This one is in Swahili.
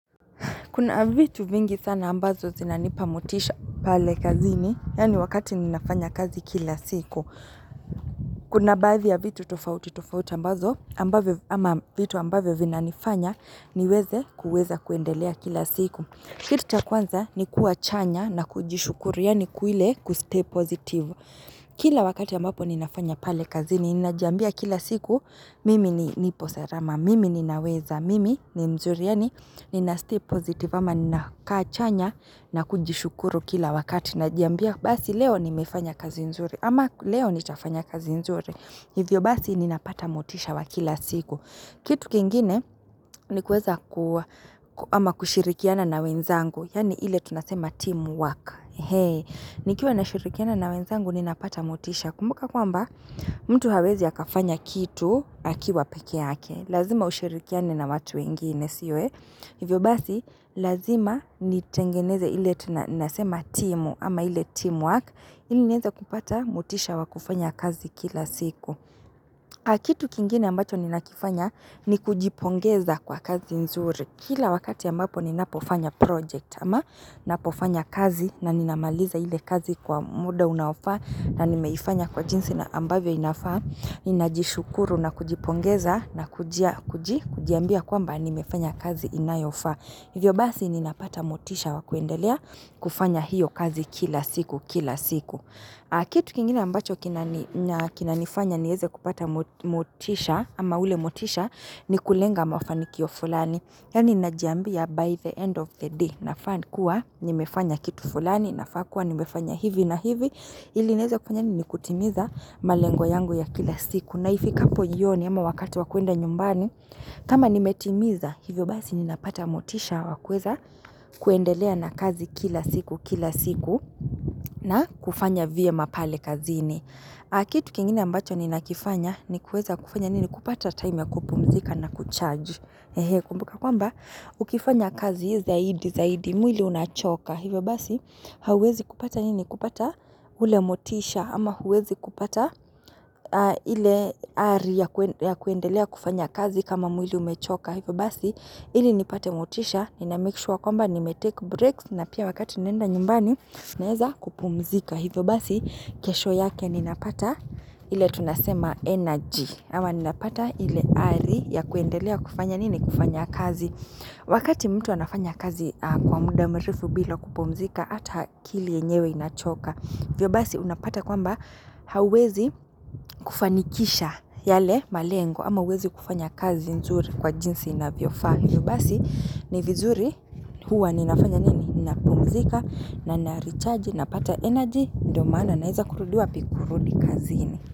Kuna vitu vingi sana ambazo zinanipa motisha pale kazini. Yaani wakati ninafanya kazi kila siku. Kuna baadhi ya vitu tofauti tofauti ambazo. Ama vitu ambavyo vinanifanya niweze kuweza kuendelea kila siku. Kitu cha kwanza ni kuwa chanya na kujishukuru yaani ile kustay positive. Kila wakati ambapo ninafanya pale kazini. Ninajiambia kila siku mimi ni nipo salama. Mimi ninaweza. Mimi ni mzuri. Yaani nina stay positive ama ninakaa chanya na kujishukuru kila wakati Najiambia basi leo nimefanya kazi nzuri ama leo nitafanya kazi nzuri Hivyo basi ninapata motisha wa kila siku Kitu kingine ni kueza kua ama kushirikiana na wenzangu Yaani ile tunasema teamwork nikiwa nashirikiana na wenzangu ninapata motisha Kumbuka kwamba mtu hawezi akafanya kitu akiwa peke yake Lazima ushirikiane na watu wengine sio eh Hivyo basi, lazima nitengeneze ile tunasema timu ama ile teamwork. Ili nieze kupata motisha wa kufanya kazi kila siku. Ah kitu kingine ambacho ninakifanya ni kujipongeza kwa kazi nzuri. Kila wakati ambapo ninapofanya project ama napofanya kazi na ninamaliza ile kazi kwa muda unaofaa na nimeifanya kwa jinsi na ambavyo inafaa. Ninajishukuru na kujipongeza na kujiambia kwamba nimefanya kazi inayofaa Hivyo basi ninapata motisha wakuendelea kufanya hiyo kazi kila siku kila siku Kitu kingine ambacho kinanifanya nieze kupata motisha ama ule motisha ni kulenga mafanikio fulani Yaani najambia by the end of the day nafaa kua nimefanya kitu fulani nafaa kua nimefanya hivi na hivi ili nieze kufanya nini kutimiza malengo yangu ya kila siku na ifikapo jioni ama wakati wa kuenda nyumbani kama nimetimiza hivyo basi ninapata motisha wa kuweza kuendelea na kazi kila siku kila siku na kufanya vyema pale kazini Ah kitu kingine ambacho ninakifanya ni kuweza kufanya nini kupata time ya kupumzika na kucharge Kumbuka kwamba ukifanya kazi zaidi zaidi mwili unachoka Hivyo basi, hauwezi kupata nini kupata ule motisha ama hauwezi kupata ile ari ya kuendelea kufanya kazi kama mwili umechoka. Hivyo basi, hili nipate motisha, ninamake sure kwamba nimetake breaks na pia wakati ninaenda nyumbani naeza kupumzika. Hivyo basi, kesho yake ninapata ile tunasema energy. Ama ninapata ile ari ya kuendelea kufanya nini kufanya kazi. Wakati mtu anafanya kazi kwa muda mrefu bila kupumzika Ata akili enyewe inachoka hivyo basi unapata kwamba hauwezi kufanikisha yale malengo ama huwezi kufanya kazi nzuri kwa jinsi inavyofaa hivyo basi ni vizuri huwa ninafanya nini napumzika na narichaji napata energy ndio maana naeza kurudi wapi kurudi kazini.